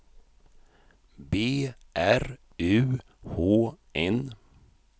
B R U H N